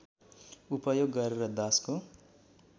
उपयोग गरेर दासको